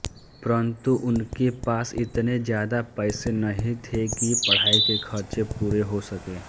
परन्तु उनके पास इतने ज्यादा पैसे नहीं थे कि पढाई के खर्चे पूरे हो सकें